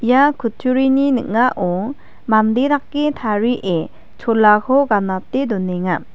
ia kutturini ning·ao mande dake tarie cholako ganate donenga.